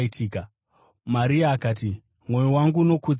Maria akati: “Mwoyo wangu unokudza Ishe